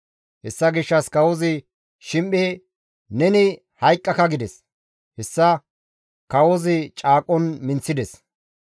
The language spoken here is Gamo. Hessa gishshas kawozi Shim7e, «Neni hayqqaka» gides; hessa kawozi caaqon minththides.